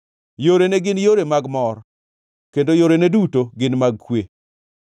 Yorene gin yore mag mor kendo yorene duto gin mag kwe.